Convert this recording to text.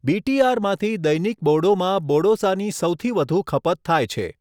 બી.ટી.આર.માંથી દૈનિક બોડોમાં બોડોસાની સૌથી વધુ ખપત થાય છે.